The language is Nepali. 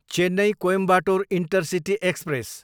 Chennai, Coimbatore intercity express